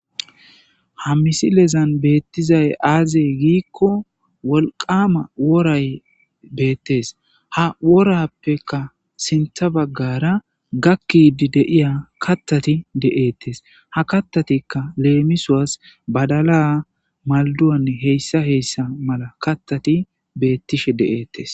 Ha misilezan beettizay aazey giikko wolqama woray beettes ha worappeka sintha baggara gakkidi deiya kattati de7eettes ha kattatikka leemisoas badala malduwanne heyssa heyssa mala kattati beettishe de'ettes.